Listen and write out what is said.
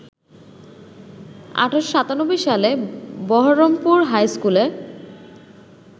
১৮৯৭ সালে বহরমপুর হাইস্কুলে